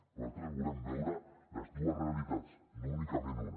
nosaltres volem veure les dues realitats no únicament una